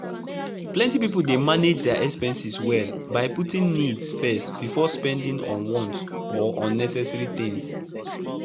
plenty people dey manage their expenses well by putting needs first before spending on wants or unnecessary things.